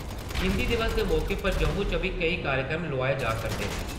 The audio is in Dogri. हिन्दी दिवस दे मौके पर जम्मू च बी केई कार्यक्रम लोआए जा करदे न।